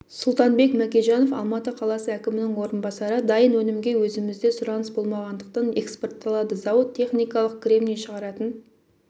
сұлтанбек мәкежанов алматы қаласы әкімінің орынбасары дайын өнімге өзімізде сұраныс болмағандықтан экспортталады зауыт техникалық кремний шығаратын